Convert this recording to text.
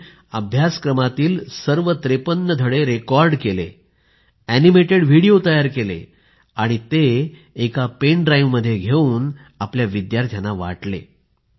त्यांनी अभ्यासक्रमातील सर्व 53 त्रेपन्न धडे रेकॉर्ड केले ऍनिमेटेड व्हिडिओ तयार केले आणि ते एका पेन ड्राइव्ह मध्ये घेऊन आपल्या विदयार्थ्यांना वाटले